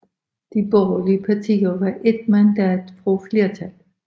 De borgerlige partier var ét mandat fra flertal